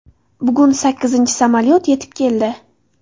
Bugun sakkizinchi samolyot yetib keldi.